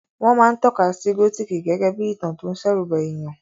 Wọ́n máa ń tọ́ka sí gótìkì gégé bí ìtàn tó ń ṣẹ̀rùba èèyàn